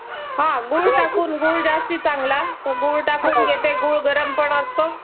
हा तेच ना बराच छोट्या मुलांना शिकवल जात नाही गरीब गरीब लोक शिकवत नाही.